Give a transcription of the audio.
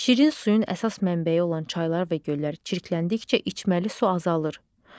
Şirin suyun əsas mənbəyi olan çaylar və göllər çirkləndikcə içməli su azalır.